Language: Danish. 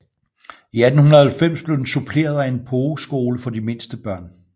I 1890 blev den suppleret af en pogeskole for de mindste børn